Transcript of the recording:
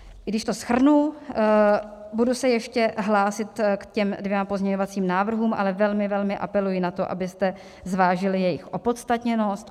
Když to shrnu, budu se ještě hlásit k těm dvěma pozměňovacím návrhům, ale velmi, velmi apeluji na to, abyste zvážili jejich opodstatněnost.